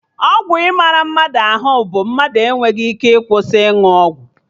Ọgwụ ịmara mmadụ ahụ bụ mmadụ enweghị ike ịkwụsị ịnụ ọgwụ